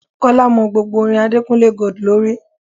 Kọ́lá mọ gbogbo orin Adekunle Gold lórí.